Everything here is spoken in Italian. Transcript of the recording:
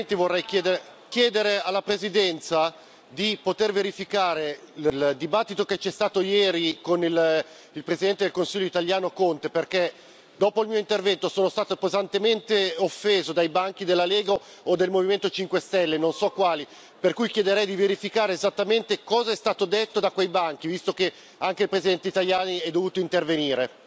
Vorrei chiedere alla Presidenza di poter verificare il dibattito che c'è stato ieri con il Presidente del Consiglio italiano Conte, perché dopo il mio intervento sono stato pesantemente offeso dai banchi della Lega o del Movimento 5 Stelle, non so quali, per cui chiederei di verificare esattamente cosa è stato detto da quei banchi, visto che anche il Presidente Tajani è dovuto intervenire.